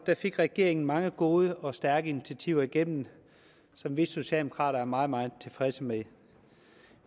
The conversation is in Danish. fik regeringen mange gode og stærke initiativer igennem som vi socialdemokrater er meget meget tilfredse med